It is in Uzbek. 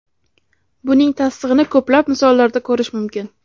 Buning tasdig‘ini ko‘plab misollarda ko‘rish mumkin.